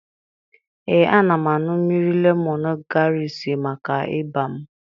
Ee, ana m aṅụ mmiri lemọn graasị maka ịba m.